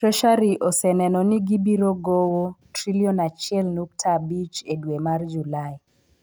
Treasury oseneno ni biro gowo Sh1.5 trilion e dwe mar Julai.